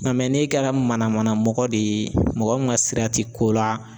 Ŋa n'e kɛra manamanamɔgɔ de ye mɔgɔ min ŋa sira ti ko la